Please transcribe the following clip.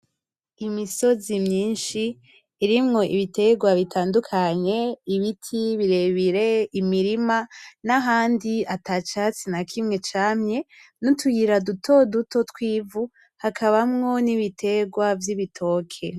Imisozi myishi irimwo ibiterwa bitandukanye ,ibiti birebire, imirima nahandi atacatsi nakimwe camye n’utuyira duto duto twivu hakabamwo n’ibiterwa vy’ibitokii